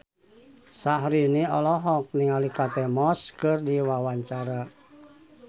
Syahrini olohok ningali Kate Moss keur diwawancara